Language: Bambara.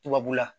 Tubabula